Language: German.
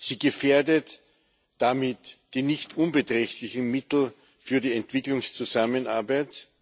Sie gefährdet damit die nicht unbeträchtlichen Mittel für die Entwicklungszusammenarbeit.